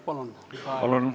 Palun!